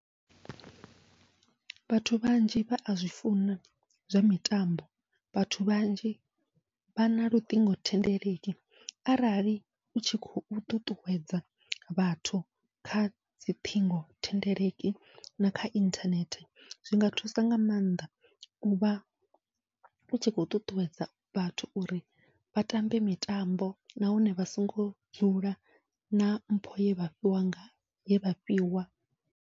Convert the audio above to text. Vhathu vhanzhi vha azwi funa zwa mitambo, vhathu vhanzhi vha na luṱingothendeleki arali utshi khou ṱuṱuwedza vhathu khadzi ṱhingothendeleki nakha inthanethe, zwinga thusa nga maanḓa uvha utshi khou ṱuṱuwedza vhathu uri vha tambe mitambo nahone vha songo dzula na mpho ye vhafhiwa nga ye vhafhiwa.